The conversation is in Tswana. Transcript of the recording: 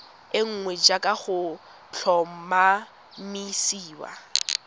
e nngwe jaaka go tlhomamisiwa